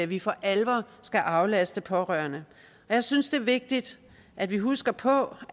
vi for alvor skal aflaste pårørende jeg synes det er vigtigt at vi husker på